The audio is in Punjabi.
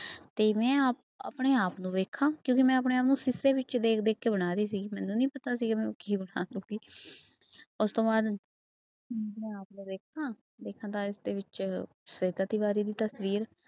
ਤੇ ਮੈਂ ਆਪ ਆਪਣੇ ਆਪ ਨੂੰ ਵੇਖਾਂ ਕਿਉਂਕਿ ਮੈਂ ਆਪਣੇ ਆਪ ਨੂੰ ਸ਼ੀਸ਼ੇ ਵਿੱਚ ਦੇਖ ਦੇਖ ਕੇ ਬਣਾ ਰਹੀ ਸੀਗੀ ਮੈਨੂੰ ਨੀ ਪਤਾ ਸੀਗਾ ਮੈਂ ਕੀ ਬਣਾ ਦਊਂਗੀ ਉਸ ਤੋਂ ਬਾਅਦ ਮੈਂ ਆਪ ਨੂੰ ਵੇਖਾਂ, ਵੇਖਾਂ ਤਾਂ ਇਸਦੇ ਵਿੱਚ ਸਵੇਤਾ ਤਿਵਾਰੀ ਦੀ ਤਸ਼ਵੀਰ।